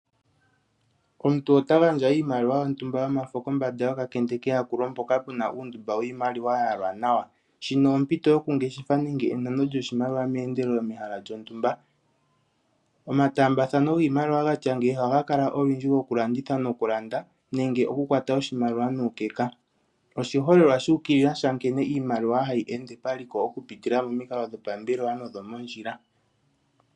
Omuntu ota gandja iimaliwa yomwaalu gontumba kombanda yokakende mpoka pu n auundumba wiimaliwa ya yalwa nawa. Shika ompito yokungeshefa nenge enano lyoshimaliwa meendelelo mehala lyontumba. Omataambathano giimaliwa gatya ngeyi ohaga kala olundji gokulanditha nokulanda nenge okukwata oshimaliwa nuukeka. Oshiholelwa shu ukilila nkene oshimaliwa hayi ende paliko okupitila pamikalo dhopambelwa nodhomondjila.